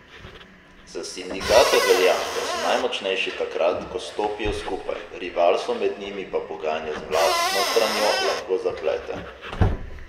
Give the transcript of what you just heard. Za sindikate velja, da so najmočnejši takrat, ko stopijo skupaj, rivalstvo med njimi pa pogajanja z vladno stranjo lahko zaplete.